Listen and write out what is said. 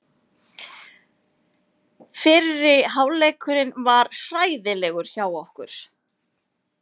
Fyrri hálfleikurinn var hræðilegur hjá okkur.